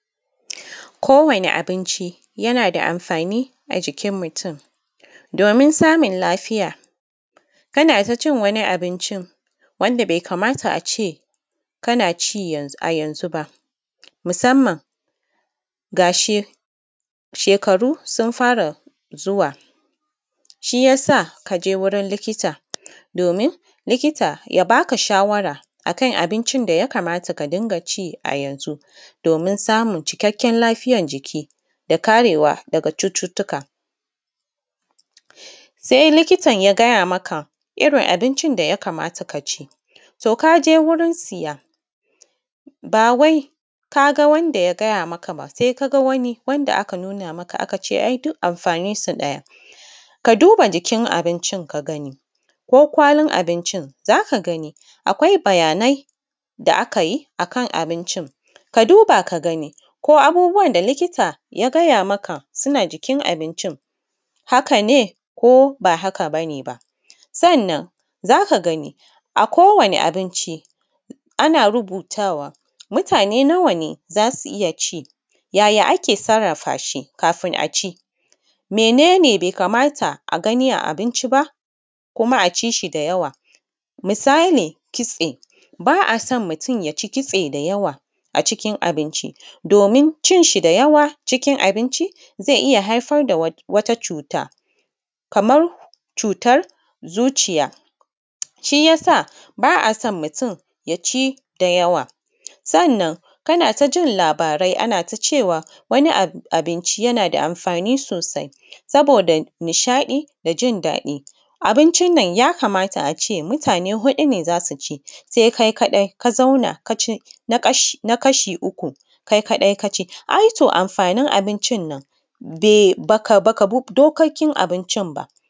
Kowani abinci yana da amfani ajikin mutum domin samun lafiya, kana ta cin wani abincin wanda bai kamata ace kana ci a yanzu ba musamman ga shekaru sun fara zuwa, shiyasa kaje wurin likita, domin likita ya baka shawara akan abincin da ya kamata ka ringa ci a yanzu, domin samun cikakken lafiyan jiki da karewa daga cututtuka, sai likitan ya gaya maka irin abincin da ya kamata ka ci, to kaje wurin siya ba wai ka ga wanda ya gaya maka ba sai ka ga wani wanda aka nuna maka aka ce ai duk amfanin su ɗaya, ka duba jikin abincin ka gani ko kwalin abincin zaka ga ni akwai bayanai da aka yi akan abincin, ka duba ka gani ko abubuwan da likita ya gaya makan suna jikin abincin, haka ne ko ba haka bane ba, sannan zaka gani akowanni abinci, ana rubutawa mutane nawa ne zasu iya ci, yaya ake sarrafa shi kafin a ci, menene bai kamata a gani a abinci ba, kuma a ci shi da yawa, misali kitse ba a son mutum yaci kitse da yawa a cikin abinci domin cin shi da yawa cikin abinci zai iya haifar da wata cuta kamar cutar zuciya, shi yasa ba a son mutum ya ci da yawa. Sanna kana ta jin labarai anata cewa wani abinci yana da amfani sosai, saboda nishaɗi da jin daɗi abincin nan ya kamata ace mutane huɗu ne zasu ci, sai kai kaɗai ka zauna ka ci na kasha uku kai kaɗai ka ci, ai to amfanin abincin nan de baka bi dokokin abincin ba.